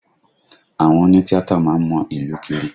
Àwọn òní tíátà má ń mọ ìlú kiri